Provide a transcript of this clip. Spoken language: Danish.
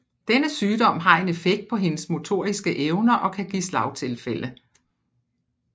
Denne sygdom har en effekt på hendes motoriske evner og kan give slagtilfælde